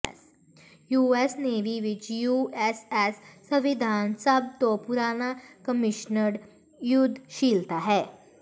US navy ਵਿਚ U S S ਸੰਵਿਧਾਨ ਸਭ ਤੋਂ ਪੁਰਾਣਾ ਕਮਿਸ਼ਨਡ ਯੁੱਧਸ਼ੀਲਤਾ ਹੈ